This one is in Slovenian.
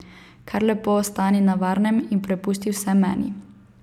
Kar lepo ostani na varnem in prepusti vse meni.